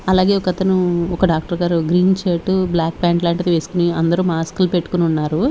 అలాగే ఒకతను ఒక డాక్టర్ గారు గ్రీన్ షర్టు బ్లాక్ ఫ్యాంట్ లాంటిది వేసుకొని అందరూ మాస్క్ లు పెట్టుకొని ఉన్నారు.